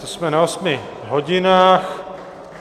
To jsme na osmi hodinách.